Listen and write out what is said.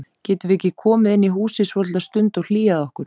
Getum við ekki komið inn í húsið svolitla stund og hlýjað okkur?